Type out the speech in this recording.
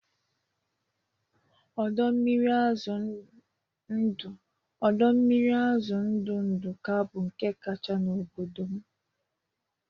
Ọdọ mmiri azụ ndụ Ndụka bụ nke kacha n'obodo m